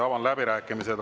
Avan läbirääkimised.